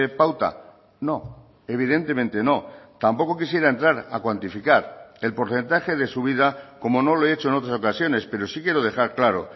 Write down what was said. pauta no evidentemente no tampoco quisiera entrar a cuantificar el porcentaje de subida como no lo he hecho en otras ocasiones pero sí quiero dejar claro